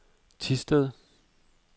Thisted